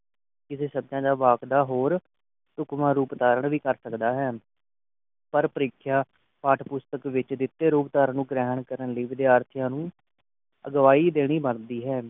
ਕਿਸੇ ਸ਼ਬਦ ਦੇ ਵਾਕ ਦਾ ਹੋਰ ਸੂਖਮ ਰੂਪ ਧਾਰਨ ਵੀ ਕਰ ਸਕਦਾ ਹੈ ਪਰ ਪ੍ਰੀਖਿਆ ਪਾਠ ਪੁਸਤਕ ਵਿਚ ਦਿਤੇ ਰੂਪ ਧਾਰਨ ਨੂੰ ਗ੍ਰਹਿਣ ਕਰਨ ਲਈ ਵਿਦਿਆਰਥੀਆਂ ਨੂੰ ਅਗਵਾਈ ਦੇਣੀ ਬਣਦੀ ਹੈ